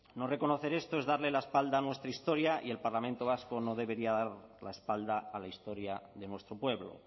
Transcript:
no reconocer esto es darle la espalda a nuestra historia y el parlamento vasco no debería dar la espalda a la historia de nuestro pueblo